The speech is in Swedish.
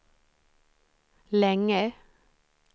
länge